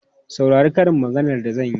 Saurari karin maganar da zan yi!